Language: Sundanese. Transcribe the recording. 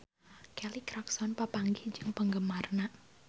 Kelly Clarkson papanggih jeung penggemarna